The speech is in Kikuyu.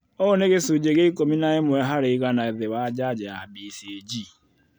Ũũ nĩ gĩcunjĩ kĩa ikũmi na ĩmwe harĩ igana thĩ wa njanjo ya BCG